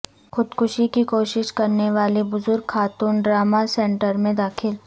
خود کشی کی کوشش کرنے والی بزرگ خاتون ٹراماسینٹرمیں داخل